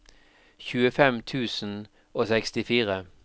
tjuefem tusen og sekstifire